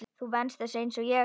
Þú venst þessu einsog ég.